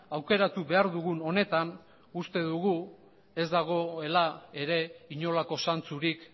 aukeratu behar dugun honetan uste dugu ez dagoela ere inolako zantzurik